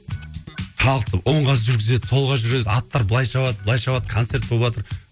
халықты оңға жүргізеді солға жүргізеді аттар былай шабады былай шабады концерт боватыр